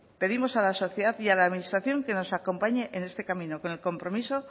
pedimos a la sociedad y a la administración que nos acompañe en este camino con el compromiso